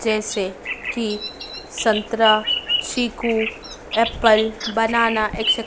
जैसे की संतरा चीकू एप्पल बनाना एक--